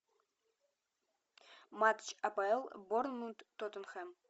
матч апл борнмут тоттенхэм